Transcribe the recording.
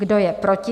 Kdo je proti?